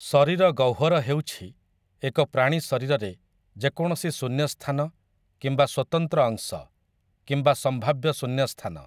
ଶରୀର ଗହ୍ୱର ହେଉଛି ଏକ ପ୍ରାଣୀ ଶରୀରରେ ଯେକୌଣସି ଶୂନ୍ୟସ୍ଥାନ କିମ୍ବା ସ୍ୱତନ୍ତ୍ର ଅଂଶ, କିମ୍ବା ସମ୍ଭାବ୍ୟ ଶୂନ୍ୟସ୍ଥାନ ।